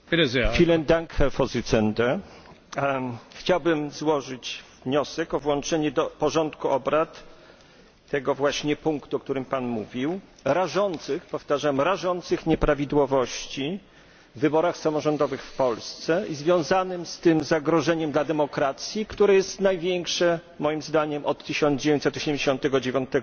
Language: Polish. Panie Przewodniczący! Chciałbym złożyć wniosek o włączenie do porządku obrad tego właśnie punktu, o którym Pan mówił, dotyczącego rażących powtarzam rażących nieprawidłowości w wyborach samorządowych w Polsce i związanym z tym zagrożeniem dla demokracji, które jest największe, moim zdaniem, od 1989 r.